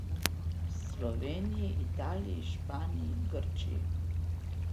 V Sloveniji, Italiji, Španiji, Grčiji...